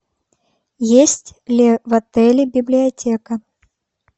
есть ли в отеле библиотека